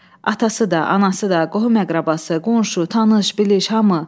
Atası da, anası da, qohum-əqrəbası, qonşu, tanış, biliş, hamı.